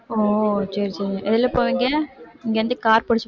ஓ சரி சரி எதில போவீங்க இங்க இருந்து car பிடிச்சி